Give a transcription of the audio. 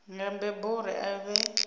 nga mbebo uri a vhe